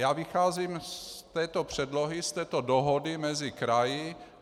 Já vycházím z této předlohy, z této dohody mezi kraji.